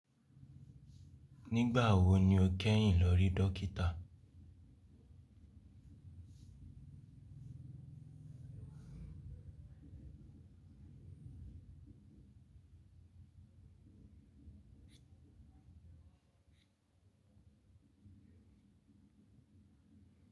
Nígbà wo ni o kẹ́yìn lọ rí dókítà?